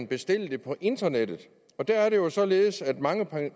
bestille det på internettet der er det jo således at mange